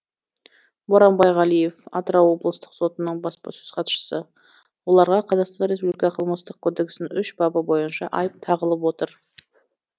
боранбай ғалиев атырау облыстық сотының баспасөз хатшысы оларға қазақстан республика қылмыстық кодексінің үш бабы бойынша айып тағылып отыр